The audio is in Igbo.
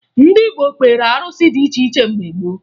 Ndị Igbo kpeere arụsị dị iche iche mgbe gboo